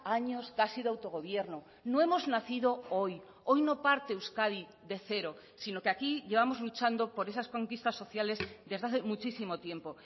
años casi de autogobierno no hemos nacido hoy hoy no parte euskadi de cero sino que aquí llevamos luchando por esas conquistas sociales desde hace muchísimo tiempo